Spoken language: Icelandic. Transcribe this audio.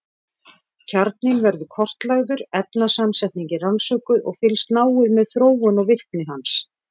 Kjarninn verður kortlagður, efnasamsetningin rannsökuð og fylgst náið með þróun og virkni hans.